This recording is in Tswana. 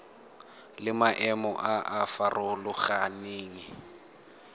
le maemo a a farologaneng